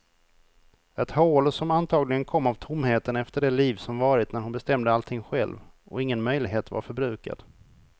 Ett hål som antagligen kom av tomheten efter det liv som varit när hon bestämde allting själv, och ingen möjlighet var förbrukad.